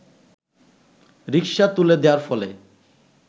রিক্সা তুলে দেয়ার ফলে